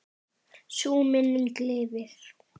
Sú minning lifir.